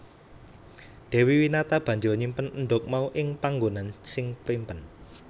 Dewi Winata banjur nyimpen endhog mau ing panggonan sing primpen